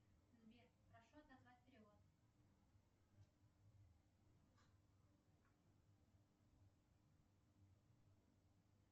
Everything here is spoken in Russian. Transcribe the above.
сбер прошу отозвать перевод